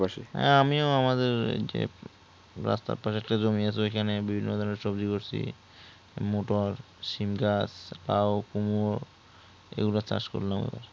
হ্যাঁ আমি ও আমাদের রাস্তার রাস্তার ধরে যে একটা জমি আছে ঐখানে বিভিন্ন ধরণের সবজি করছি মোটর সীম গাছ লাও কুমড়ো এগুলো চাষ করলাম আমরা